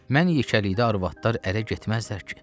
Mən yekəlikdə arvadlar ərə getməzlər ki.